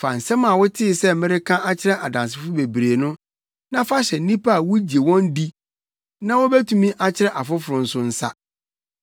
Fa nsɛm a wotee sɛ mereka akyerɛ adansefo bebree no, na fa hyɛ nnipa a wugye wɔn di na wobetumi akyerɛ afoforo nso nsa.